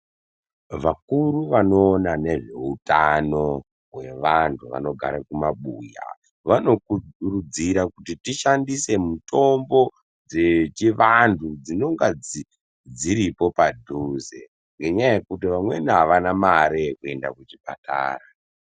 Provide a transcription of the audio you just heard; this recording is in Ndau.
Vakuru vanoona nezveutano vantu vanogare kumabuya vanokurudzira kuti tishandise mitombo dzechivanhu dzinenga dzi dziripo padhuze ngenyaya yekuti vamweni avana mare yekuenda kuchipatara.